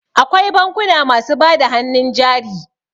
Akwai bankuna masu bada hannun jari.